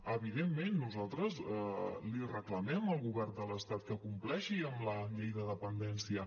evidentment nosaltres li reclamem al govern de l’estat que compleixi amb la llei de dependència